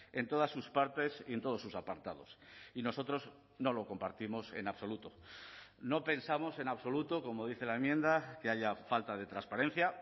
en todas sus partes y en todos sus apartados y nosotros no lo compartimos en absoluto no pensamos en absoluto como dice la enmienda que haya falta de transparencia